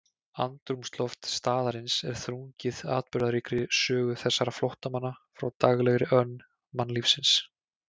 Andrúmsloft staðarins er þrungið atburðaríkri sögu þessara flóttamanna frá daglegri önn mannlífsins.